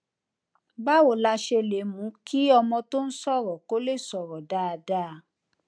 báwo la ṣe lè mú kí ọmọ tó ń sòrò kò lè sòrò dáadáa